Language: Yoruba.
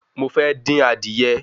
Mo fẹ́ dín adìye